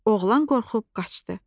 Oğlan qorxub qaçdı.